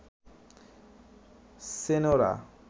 Senora